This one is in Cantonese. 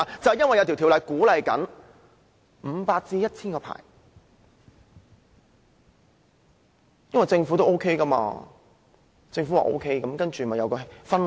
原因是有法例鼓勵發出500個至 1,000 個甲類牌照，政府的鼓勵導致了一種氛圍。